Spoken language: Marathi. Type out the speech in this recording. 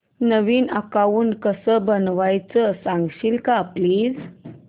नवीन अकाऊंट कसं बनवायचं सांगशील का प्लीज